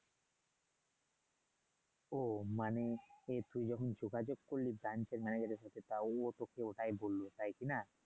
ও মানে এ তুই যখন যোগাযোগ করলি এর সাথে তা ও তোকে ওটাই বললো তাই না?